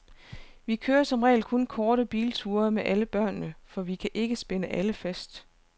Vi kører som regel kun korte bilture med alle børnene, for vi kan ikke spænde alle fast.